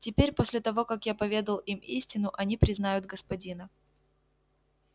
теперь после того как я поведал им истину они признают господина